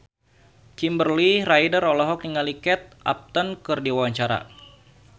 Kimberly Ryder olohok ningali Kate Upton keur diwawancara